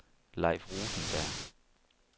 Leif Rosenberg